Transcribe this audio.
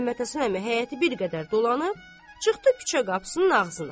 Məhəmməd Həsən əmi həyəti bir qədər dolanıb, çıxdı küçə qapısının ağzına.